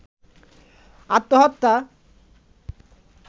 আত্মহত্যা